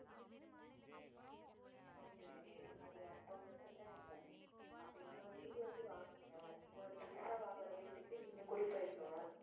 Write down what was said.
okay okay அது அப்போ வந்து பிரச்சனையே இல்ல அப்போ இன்னொரு வீடு வந்து வாங்குங்க இன்னொரு புதுசா வாங்குற வீட்டுக்கு நீங்க குடி போயிருங்க.